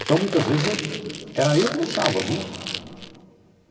Então, muitas vezes, eu era eu que deixava, viu?